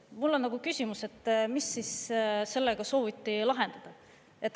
Mul on küsimus, mis siis sellega sooviti lahendada.